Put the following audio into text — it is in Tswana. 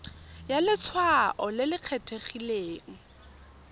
ya letshwao le le kgethegileng